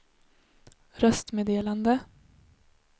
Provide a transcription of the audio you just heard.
röstmeddelande